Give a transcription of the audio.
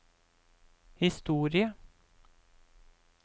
historie